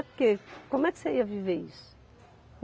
Porque como é que você ia viver isso?